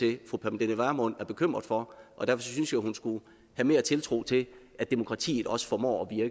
at fru pernille vermund er bekymret for og derfor synes jeg hun skulle have mere tiltro til at demokratiet også formår